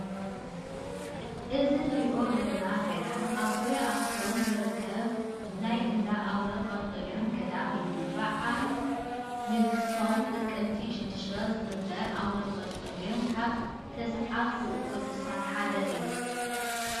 እዚ ንሪኦ ዘለና ገዳማ ኣብ ዙርያ ኣኽሱም ዝርከበ ናይ አንዳ ኣቡነ ጰንጠሌዎን ገዳም እዩ፡፡ በዓለ ንግሶም ጥቅምቲ 6 ዝኽበር ኣቡነ ጰንጠሌዎን ካብ ተስዓቱ ቅዱሳን ሓደ እዮም፡፡